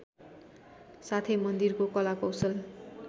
साथै मन्दिरको कलाकौशल